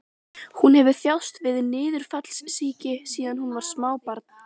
Hún hefur þjáðst af niðurfallssýki síðan hún var smábarn.